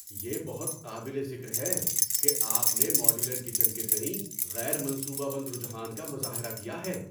یہ بہت قابل ذکر ہے کہ آپ نے ماڈیولر کچن کے تئیں غیر منصوبہ بند رجحان کا مظاہرہ کیا ہے۔